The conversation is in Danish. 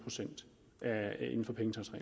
tusind